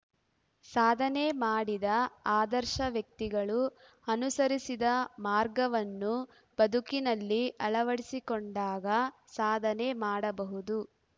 ಸಾಧನೆ ಮಾಡಿದ ಆದರ್ಶ ವ್ಯಕ್ತಿಗಳು ಅನುಸರಿಸಿದ ಮಾರ್ಗವನ್ನು ಬದುಕಿನಲ್ಲಿ ಅಳವಡಿಸಿಕೊಂಡಾಗ ಸಾಧನೆ ಮಾಡಬಹುದು